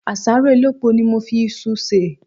Àsáró elépo ni mo fi isu sè.